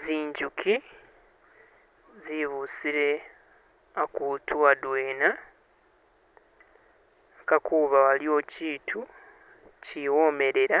zinjuki zebusile akutu adwena yaka kuba waliwo chitu chiwomelela